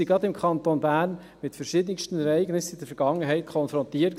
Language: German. Gerade im Kanton Bern waren wir in Vergangenheit mit verschiedensten Ereignissen konfrontiert.